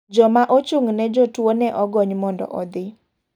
Joma ochung' ne jotuo ne ogony mondo odhi.